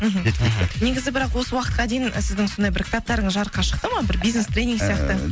мхм жеткілікті негізі бірақ осы уақытқа дейін сіздің сондай бір кітаптарыңыз жарыққа шықты ма бір бизнес тренинг сияқты